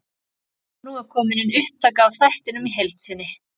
Nú er komin inn upptaka af þættinum í heild sinni.